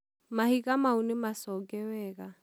mahiga mau nĩ maconge wega